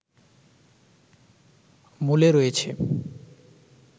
মূলে রয়েছে